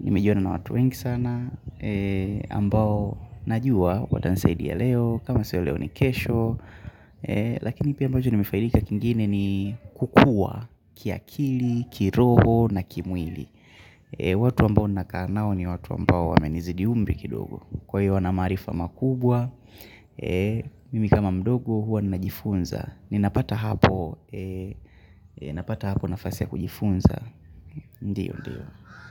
Nimejuana na watu wengi sana, ambao najua watansaidia leo, kama sio leo ni kesho. Lakini pia ambacho nimefaidika kingine ni kukua kiakili, kiroho na kimwili. Watu ambao nakaa nao ni watu ambao wamenizidi umri kidogo Kwa hiyo wana maarifa makubwa Mimi kama mdogo huwa ninajifunza ninapata hapo nafasi ya kujifunza Ndiyo ndiyo.